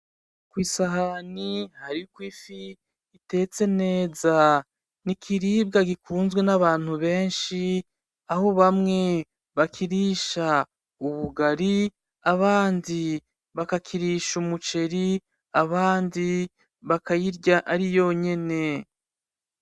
Ku isahani hariko ikifi itetse neza, ni ikiribwa gikunzwe n’abantu benshi aho bamwe bakirisha ubugari, abandi bakakirisha umuceri, abandi bakayirya ari yo nyene.